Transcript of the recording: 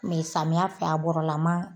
samiya fɛ , a bɔrɔ la man